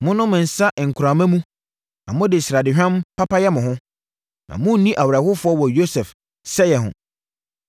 Monom nsã nkorama mu na mode sradehwam papa yɛ mo ho, na monni awerɛhoɔ wɔ Yosef sɛeɛ ho.